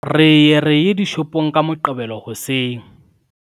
re ye re ye dishopong ka Moqebelo hoseng